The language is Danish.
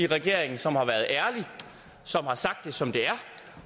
regeringen som har været ærlig og som har sagt det som det er